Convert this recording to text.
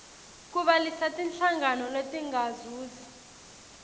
kubhalisa tinhlangano letingazuzi